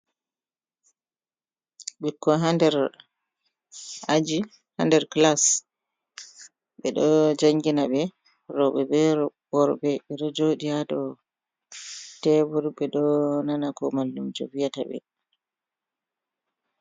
Ɓikkoy haa nder Aji haa nder class, ɓe ɗo janngina ɓe rewɓe be worɓe ɗe jooɗi haa dow teebur ɓe ɗo nana ko mallumjo viyata ɓe